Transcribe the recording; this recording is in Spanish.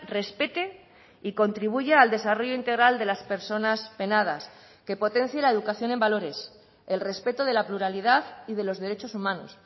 respete y contribuya al desarrollo integral de las personas penadas que potencie la educación en valores el respeto de la pluralidad y de los derechos humanos